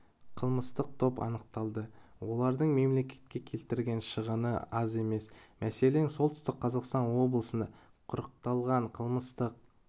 қылмыстық топ анықталды олардың мемлекетке келтірген шығыны аз емес мәселен солтүстік қазақстан облысында құрықталған қылмыстық